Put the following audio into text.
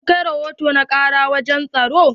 Kin kai rahoto na karar wajen tsaro?